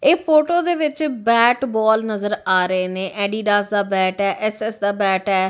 ਇਹ ਫੋਟੋ ਦੇ ਵਿੱਚ ਬੈਟ ਬਾਲ ਨਜ਼ਰ ਆ ਰਹੇ ਨੇ ਐਡੀਡਾਸ ਦਾ ਬੈਟ ਐ ਐਸ_ਐਸ ਦਾ ਬੈਟ ਐ।